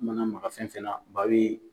I mana maga fɛn fɛn na ba bi